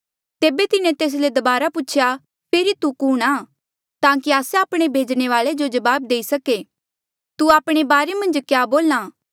तेबे तिन्हें तेस ले दबारा पूछेया फेरी तू कुणहां ताकि आस्से आपणे भेजणे वाले जो जवाब देई सके तू आपणे बारे मन्झ क्या बोल्हा